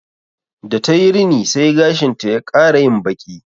Da ta yi rini sai gashinta ya ƙara yin baƙi